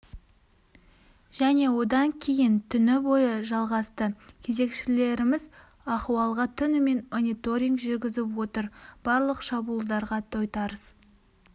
және одан кейін түні бойы жалғасты кезекшілеріміз ахуалға түнімен мониторинг жүргізіп отыр барлық шабуылдарға тойтарыс